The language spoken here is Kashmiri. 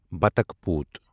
بظخ پوٗت